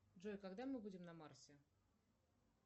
джой когда мы будем на марсе